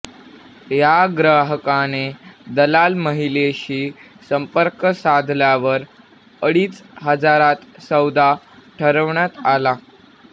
या ग्राहकाने दलाल महिलेशी संपर्क साधल्यावर अडीच हजारात सौदा ठरवण्यात आला